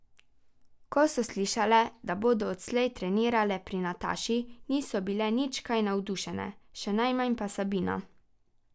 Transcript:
Ko so slišale, da bodo odslej trenirale pri Nataši, niso bile nič kaj navdušene, še najmanj pa Sabina.